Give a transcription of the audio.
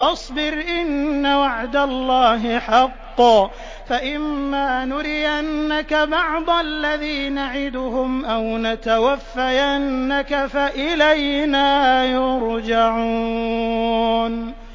فَاصْبِرْ إِنَّ وَعْدَ اللَّهِ حَقٌّ ۚ فَإِمَّا نُرِيَنَّكَ بَعْضَ الَّذِي نَعِدُهُمْ أَوْ نَتَوَفَّيَنَّكَ فَإِلَيْنَا يُرْجَعُونَ